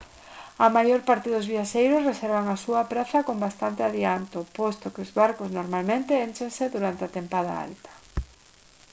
a maior parte dos viaxeiros reservan a súa praza con bastante adianto posto que os barcos normalmente énchense durante a tempada alta